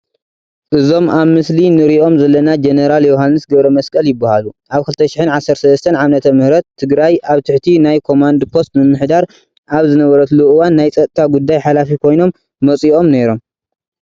እዞም ኣብ ምስሊ ንሪኦም ዘለና ጀነራል ዮሃንስ ገብረመስቀል ይበሃሉ፡፡ ኣብ 2013ዓ/ም ትግራይ ኣብ ትሕቲ ናይ ኮማንድ ፖስት ምምሕዳር ኣብ ዝነበረትሉ እዋን ናይ ፀጥታ ጉዳይ ሓላፊ ኮይኖም መፂኦም ነይሮም፡፡